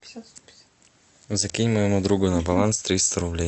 закинь моему другу на баланс триста рублей